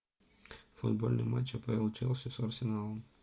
футбольный матч апл челси с арсеналом